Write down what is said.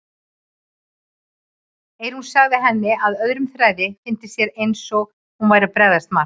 Eyrún sagði henni að öðrum þræði fyndist sér eins og hún væri að bregðast Mark.